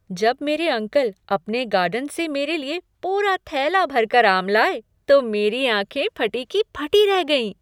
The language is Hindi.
जब मेरे अंकल अपने गार्डन से मेरे लिए पूरा थैला भरकर आम लाए तो मेरी आँखें फटी की फटी रह गईं।